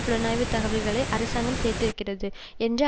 புலனாய்வு தகவல்களை அரசாங்கம் சேர்த்திருக்கிறது என்ற